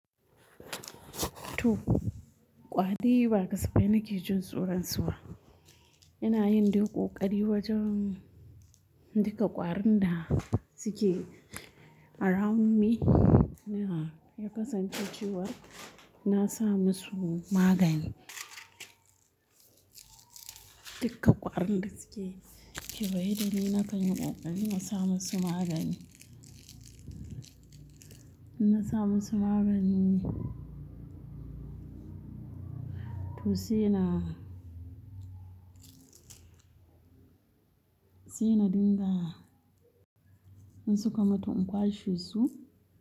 To kwadi ba gaspe nake jin tsoron su ba. Ina yin dai koƙari wajen duka ƙwarin da suke around me, yana yakasance cewa na sa musu magani. Duka ƙwarin da suke kewaye, da ni na kan yi kokari na sa musu magani. Ina sa musu magani. To sai na, sai na dinga in suka mutu in kwashe su.